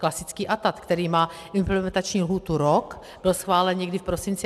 Klasický ATAD, který má implementační lhůtu rok, byl schválen někdy v prosinci.